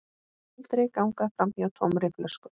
Aldrei ganga framhjá tómri flösku.